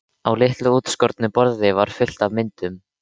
Á litlu útskornu borði var fullt af myndum.